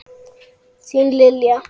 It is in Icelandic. Þín Lilja.